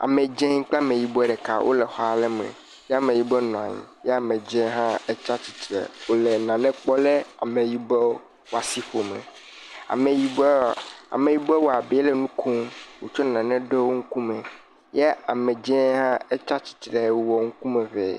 Ame dze kple ame yibɔ ɖeka wole xɔ aɖe me. Ye ameyibɔ nɔ anyi ye amedze hã tsia tsitre. Wole nane kpɔm le ameyibɔ ƒe asiƒome. Ameyibɔ, ameyibɔ wɔ abe ele nu kom wotsɔ nane ɖo wo ŋkume ye amedzi hã etsi stistre wɔ ŋkume hɛ.